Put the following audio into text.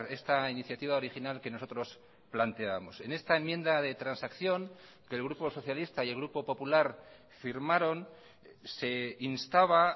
esta iniciativa original que nosotros planteábamos en esta enmienda de transacción que el grupo socialista y el grupo popular firmaron se instaba